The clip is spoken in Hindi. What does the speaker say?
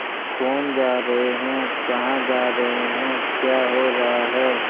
कौन जा रहे हैं कहाँ जा रहे हैं क्या हो रहा है